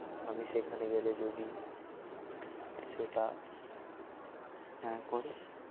আমি সেখানে গেলে যদি সেটা হ্যা করে